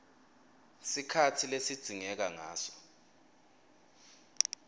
sikhatsi lesidzingeka ngaso